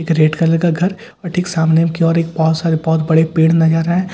एक red colour का घर और ठीक सामने की और एक बहुत सारे बहुत बड़े पेड़ नजर है ।